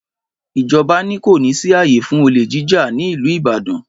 Ìjọbà ní; kọ ni sí àyé fún ọlé jíjà ni Ìlú ìbádàn